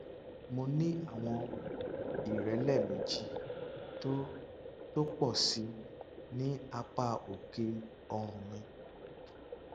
mo ní àwọn ìrẹlẹ méjì tó tó pọ sí i ní apá òkè ọrùn mi